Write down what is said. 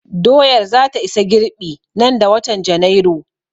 Doyar za ta isa girɓi nan da watan Janairu